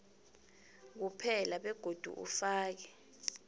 kuphela begodu ufake